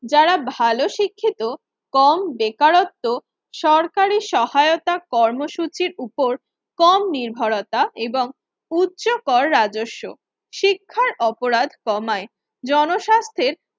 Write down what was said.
যারা ভালো শিক্ষিত কম বেকারত্ব সরকারি সহায়তা কর্মসূচির ওপর কম নির্ভরতা এবং উচ্চকর রাজস্ব শিক্ষা অপরাধ কমায়। জনস্বাস্থ্যের